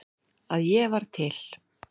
að ég var til.